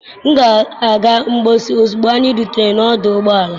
M ga-aga mposi ozugbo anyị rutere n'ọdụ ụgbọala.